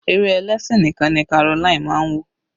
Eré ẹlẹ́sìn nìkan ni Caroline máa ń wò.